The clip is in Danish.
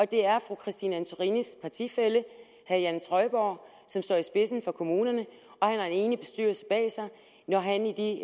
det er fru christine antorinis partifælle herre jan trøjborg som står i spidsen for kommunerne og han har en enig bestyrelse bag sig når han i